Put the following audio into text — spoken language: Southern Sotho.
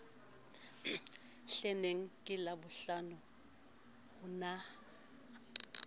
hleneng ke labohlano ho na